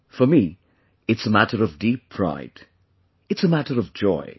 For me, it's a matter of deep pride; it's a matter of joy